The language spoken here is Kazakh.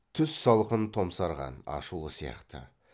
түс салқын томсарған ашулы сияқты